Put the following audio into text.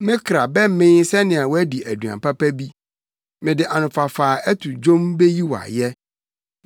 Me kra bɛmee sɛnea wadi aduan papa bi; mede anofafa a ɛto dwom beyi wo ayɛ.